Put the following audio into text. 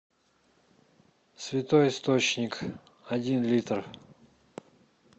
святой источник один литр